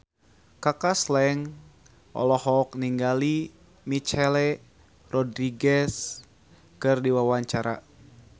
Kaka Slank olohok ningali Michelle Rodriguez keur diwawancara